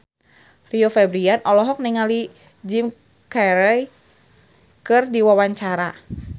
Rio Febrian olohok ningali Jim Carey keur diwawancara